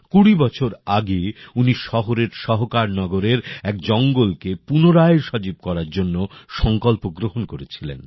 কুড়ি বছর আগে উনি শহরের সহকার নগরের এক জঙ্গলকে পুনরায় সজীব করার সংকল্প গ্রহণ করেছিলেন